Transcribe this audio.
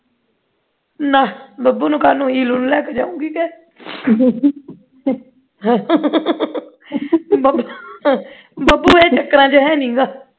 ਲੈ ਬੱਬੂ ਨੂੰ ਕਾਨੂੰ ਇਲੁ ਨੂੰ ਨਾਲ ਲੈ ਕੇ ਜਾਊਂਗੀ ਕੇ ਬੱਬੂ ਇਹ ਚੱਕਰਾਂ ਦੇ ਵਿੱਚ ਹੈ ਨਹੀਂ ਗਾ